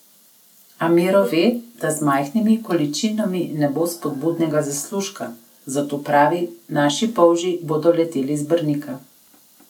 A Miro ve, da z majhnimi količinami ne bo spodobnega zaslužka, zato pravi: 'Naši polži bodo leteli z Brnika.